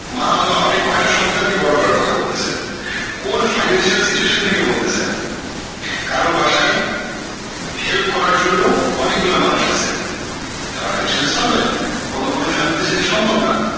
মা হওয়া আপনি কয়টা সন্তান কে বড়ো করার কথা বলতেসেন কোন financial sitiation থেকে বলতেসেন কারো বাসায় help করার জন্য অনেক গুলা মানুষ আছে তারা খালি শুধু servant অন্য কোনো family তে সেটা সম্ভব না